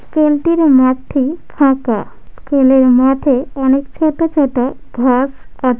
School -টির মাঠটি ফাঁকা স্কুল -এর মাঠে অনেক ছোট ছোট ঘাস আছে।